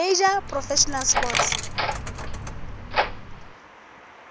major professional sports